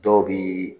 Dɔw bi